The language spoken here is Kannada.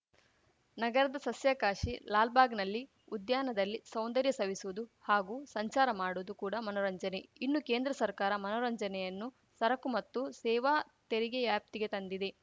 ನಗರದ ಸಸ್ಯಕಾಶಿ ಲಾಲ್‌ಬಾಗ್‌ನಲ್ಲಿ ಉದ್ಯಾನದಲ್ಲಿ ಸೌಂದರ್ಯ ಸವಿಸುವುದು ಹಾಗೂ ಸಂಚಾರ ಮಾಡುವುದು ಕೂಡ ಮನರಂಜನೆ ಇನ್ನು ಕೇಂದ್ರ ಸರ್ಕಾರ ಮನೋರಂಜನೆಯನ್ನು ಸರಕು ಮತ್ತು ಸೇವಾ ತೆರಿಗೆ್ ಯಾಪ್ತಿಗೆ ತಂದಿದೆ